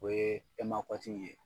O ye e ma kɔtigi ye.